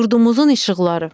Yurdumuzun işıqları.